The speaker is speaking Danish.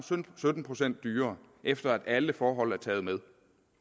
sytten procent dyrere efter at alle forhold er taget med